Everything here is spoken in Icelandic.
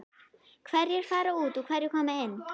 Hverjir fara út og hverjir koma inn?